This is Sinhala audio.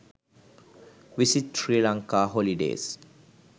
visit sri lanka holidays